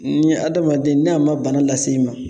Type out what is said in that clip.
Ni hadamaden ni a ma bana lase i ma